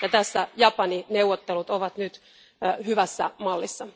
Tässä Japani neuvottelut ovat nyt hyvässä mallissa.